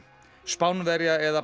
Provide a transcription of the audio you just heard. Spánverja eða